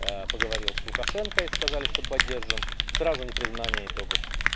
поговорил с лукашенко и сказали что поддержим сразу непризнание итогов